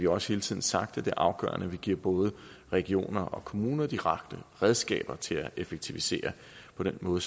også hele tiden sagt at det er afgørende at vi giver både regioner og kommuner de rette redskaber til at effektivisere på den måde